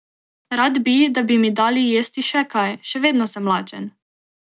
Rad bi, da bi mi dali jesti še kaj, še vedno sem lačen.